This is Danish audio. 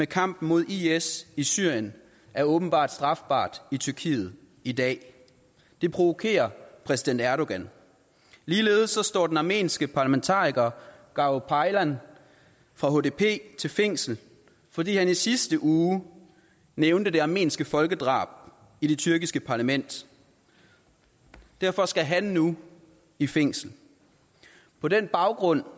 kampen mod is i syrien er åbenbart strafbart i tyrkiet i dag det provokerer præsident erdogan ligeledes står den armenske parlamentariker garo paylan fra hdp til fængsel fordi han i sidste uge nævnte det armenske folkedrab i det tyrkiske parlament derfor skal han nu i fængsel på den baggrund